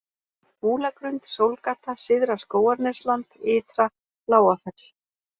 Múlagrund, Sólgata, Syðra-Skógarnesland, Ytra Lágafell